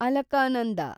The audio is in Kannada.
ಅಲಕಾನಂದ